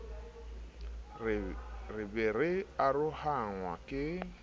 re be re arohanngwa ke